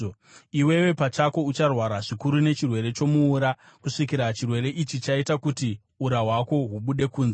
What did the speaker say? Iwewe pachako ucharwara zvikuru nechirwere chomuura, kusvikira chirwere ichi chaita kuti ura hwako hubude kunze.’ ”